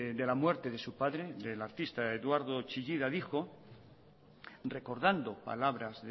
de la muerte de su padre del artista eduardo chillida dijo recordando palabras